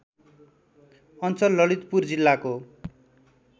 अञ्चल ललितपुर जिल्लाको